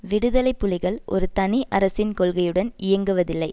விடுதலை புலிகள் ஒரு தனி அரசின் கொள்கையுடன் இயங்குவதில்லை